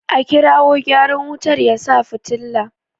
A kirawo gyaran wutar ya sa fitila!